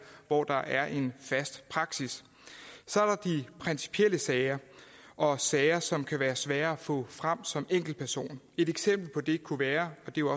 hvor der er en fast praksis så er der de principielle sager og sager som det kan være svært at få frem som enkeltperson et eksempel på det kunne være og det